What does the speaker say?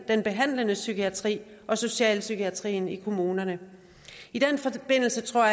den behandlende psykiatri og socialpsykiatrien i kommunerne i den forbindelse tror